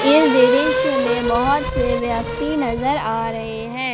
इस दृश्य में बहोत से व्यक्ति नजर आ रहे हैं।